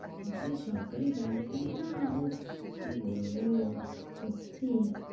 বেসরকারি bank নিয়ে না উফ কি বলব সত্যি।